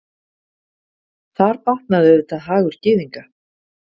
Þar batnaði auðvitað hagur Gyðinga.